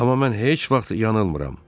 Amma mən heç vaxt yanılmıram.